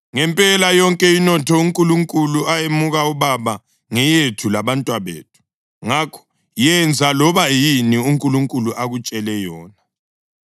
Ngempela yonke inotho uNkulunkulu ayemuka ubaba ngeyethu labantwabethu. Ngakho yenza loba yini uNkulunkulu akutshele yona.”